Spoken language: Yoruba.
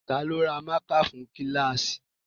Ta ló ra mákà fún kíláàsì?